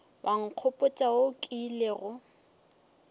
wa nkgopotša wo o kilego